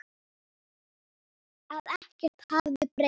Að ekkert hefði breyst.